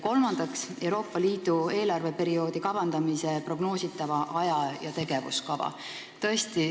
Kolmandaks, Euroopa Liidu eelarveperioodi kavandamise prognoositava aja- ja tegevuskava.